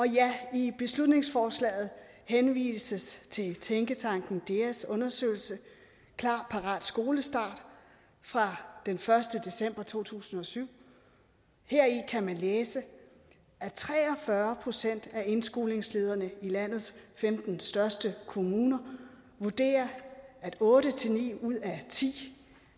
i beslutningsforslaget henvises til tænketanken deas undersøgelse klar parat skolestart fra den første december to tusind og syv heri kan man læse at tre og fyrre procent af indskolingslederne i landenes femten største kommuner vurderer at otte ni ud af ti